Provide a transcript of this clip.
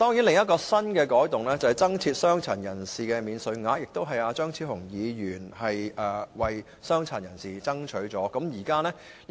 另一項新改動是增設傷殘人士免稅額，這是張超雄議員為傷殘人士爭取的。